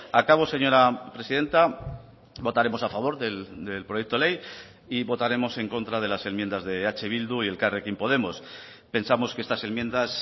acabo señora presidenta votaremos a favor del proyecto ley y votaremos en contra de las enmiendas de eh bildu y elkarrekin podemos pensamos que estas enmiendas